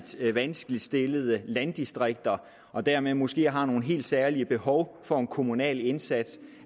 vanskeligt stillede landdistrikter og dermed måske er nogle helt særlige behov for en kommunal indsats